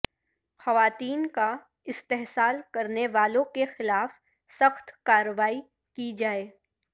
خواتین کا استحصال کرنے والوں کے خلاف سخت کارروائی کی جائے